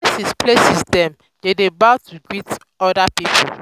for some places dem dey kneel down to greet elders